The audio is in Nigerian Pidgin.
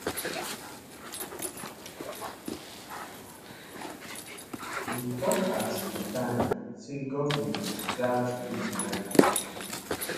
im tok at di time say goment gatz to do di right tin